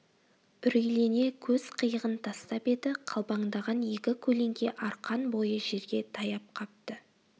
үрейлене көз қиығын тастап еді қалбаңдаған екі көлеңке арқан бойы жерге таяп қапты